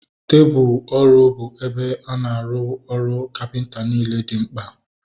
Tebụlu ọrụ bụ ebe a na-arụ ọrụ kapịnta niile dị mkpa